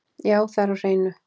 Já, það er á hreinu.